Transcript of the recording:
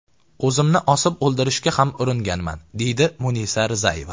O‘zimni osib o‘ldirishga ham uringanman”, deydi Munisa Rizayeva.